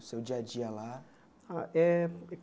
O seu dia a dia lá? Ah é